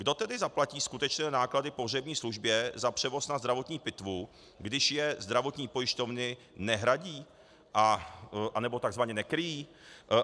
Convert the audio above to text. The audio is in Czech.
Kdo tedy zaplatí skutečné náklady pohřební službě za převoz na zdravotní pitvu, když je zdravotní pojišťovny nehradí, anebo tzv. nekryjí?